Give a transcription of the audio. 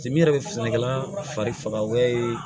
Ci yɛrɛ bɛ sɛnɛkɛla fari faga wɛrɛ ye